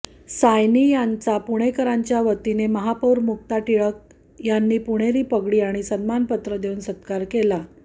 सायानी यांचा पुणेकरांच्या वतीने महापौर मुक्ता टिळक यांनी पुणेरी पगडी आणि सन्मानपत्र देऊन सत्कार केला